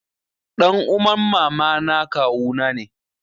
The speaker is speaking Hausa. Ɗan uman mamana kawuna ne.